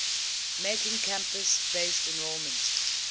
making campus based enrollment